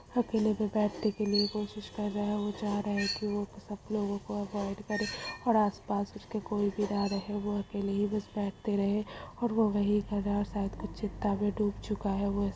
अकेले में बैटने के लिए कोशिश कर रहे है वो जा रहे तह सब लोगों को अवॉइड करे और आस-पास उसके कोई बी न रहे वो अकेले ही बस बैटते रहे और वो वही गदर शायद कुछ चिंता मे धुब चुका है वो ऐसा है।